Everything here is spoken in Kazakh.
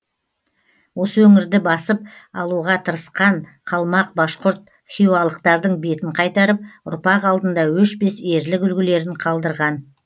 осы өңірді басып алуға тырысқан қалмақ башқұрт хиуалықтардың бетін қайтарып ұрпақ алдында өшпес ерлік үлгілерін қалдырған